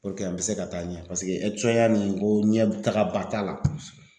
an bɛ se ka taa ɲɛ paseke ya nin ko ɲɛtagaba t'a la kɔsɛbɛ